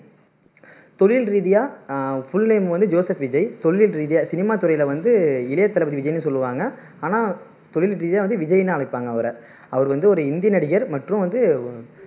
தொழில் ரீதியா ஆஹ் full name வந்து ஜோசப் விஜய் தொழில் ரீதியா சினிமா துறையில வந்து இளைய தளபதி விஜய்னு சொல்லுவாங்க ஆனா தொழில் ரீதியா விஜைய்னு அழைப்பாங்க அவரை அவர் வந்து ஒரு ஹிந்தி நடிகர் மற்றும் வந்து